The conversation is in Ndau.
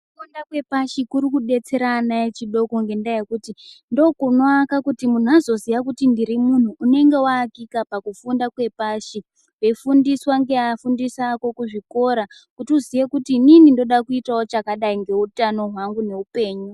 Kufunda kwepashi kuri kudetsera ana echidoko ngendaa yekuti ndokunoaka kuti munhu azoziya kuti ndiri munhu ,unenge waakika pakufunda kwepashi, weifundiswa ngeafundisi ako kuzvikora, kuti uziye kuti inini ndoda kuitawo chakadai ngeutano hwangu neupenyu.